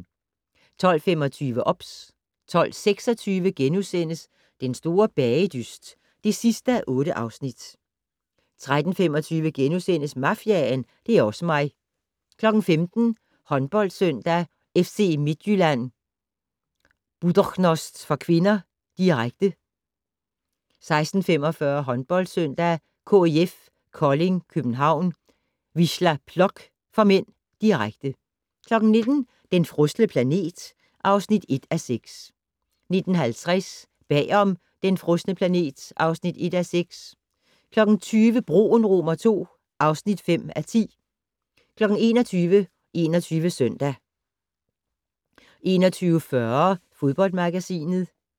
12:25: OBS 12:26: Den store bagedyst (8:8)* 13:25: Mafiaen - det er osse mig * 15:00: HåndboldSøndag: FC Midtjylland-Buducnost (k), direkte 16:45: HåndboldSøndag: KIF Kolding København-Wisla Plock (m), direkte 19:00: Den frosne planet (1:6) 19:50: Bag om Den frosne planet (1:6) 20:00: Broen II (5:10) 21:00: 21 Søndag 21:40: Fodboldmagasinet